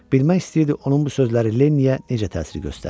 Bilmək istəyirdi onun bu sözləri Lenniyə necə təsir göstərir.